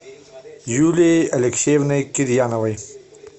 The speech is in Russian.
юлией алексеевной кирьяновой